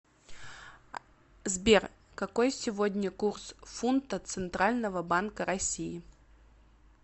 сбер какой сегодня курс фунта центрального банка россии